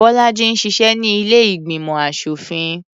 Bọ́lájí ń ṣiṣẹ́ ní ilé ìgbìmọ̀ aṣòfin.